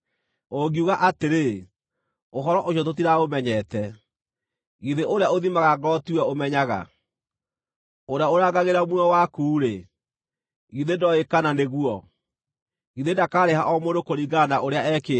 Ũngiuga atĩrĩ, “Ũhoro ũcio tũtiraũmenyete,” githĩ ũrĩa ũthimaga ngoro tiwe ũmenyaga? Ũrĩa ũrangagĩra muoyo waku-rĩ, githĩ ndooĩ kana nĩguo? Githĩ ndakaarĩha o mũndũ kũringana na ũrĩa ekĩte?